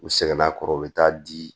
U sɛgɛnna a kɔrɔ u bɛ taa di